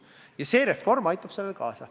Ja see reform aitab sellele kaasa.